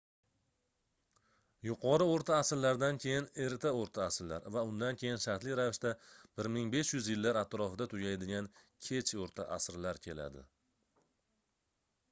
yuqori oʻrta asrlardan keyin erta oʻrta asrlar va undan keyin shartli ravishda 1500-yillar atrofida tugaydigan kech oʻrta asrlar keladi